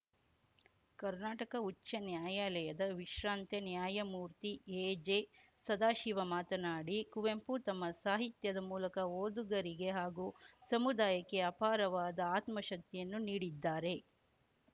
ಕರ್ನಾಟಕ ಉಚ್ಛಾನ್ಯಾಯಾಲಯದ ವಿಶ್ರಾಂತ ನ್ಯಾಯಮೂರ್ತಿ ಎಜೆಸದಾಶಿವ ಮಾತನಾಡಿ ಕುವೆಂಪು ತಮ್ಮ ಸಾಹಿತ್ಯದ ಮೂಲಕ ಓದುಗರಿಗೆ ಹಾಗೂ ಸಮುದಾಯಕ್ಕೆ ಅಪಾರವಾದ ಆತ್ಮಶಕ್ತಿಯನ್ನು ನೀಡಿದ್ದಾರೆ